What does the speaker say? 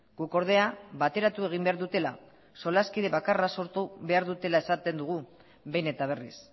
guk ordea bateratu egin behar dutela solaskide bakarra sortu behar dutela esaten dugu behin eta berriz